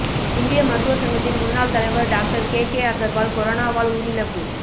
இந்திய மருத்துவ சங்கத்தின் முன்னாள் தலைவர் டாக்டர் கேகே அகர்வால் கொரோனாவால் உயிரிழப்பு